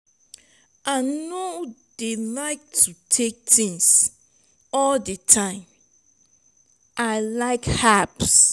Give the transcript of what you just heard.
i no dey like to take things all the time i like herbs.